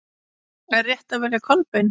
Er rétt að velja Kolbein?